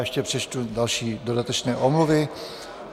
Ještě přečtu další dodatečné omluvy.